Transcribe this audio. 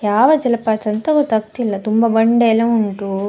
ಯಾವ ಜಲಪಾತ ಅಂತ ಗೊತ್ತಾಗತ್ತಾ ಇಲ್ಲಾ ತುಂಬಾ ಬಂಡೆ ಎಲ್ಲಾ ಉಂಟು.